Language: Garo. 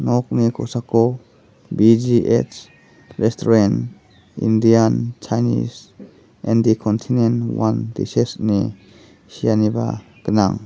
nokni kosako B_G_H resturen indian chinese N_D kontinent wan dises ine seaniba gnang.